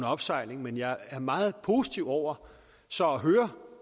opsejling men jeg er meget positiv over så at høre